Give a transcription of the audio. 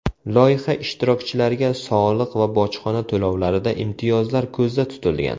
Loyiha ishtirokchilariga soliq va bojxona to‘lovlarida imtiyozlar ko‘zda tutilgan.